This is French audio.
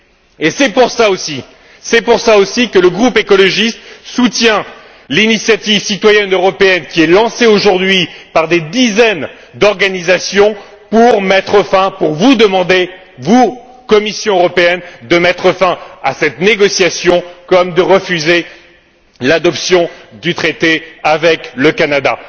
Et c'est pour cela aussi que le groupe écologiste soutient l'initiative citoyenne européenne qui est lancée aujourd'hui par des dizaines d'organisations pour vous demander, à vous, Commission européenne, de mettre fin à cette négociation comme de refuser l'adoption du traité avec le Canada.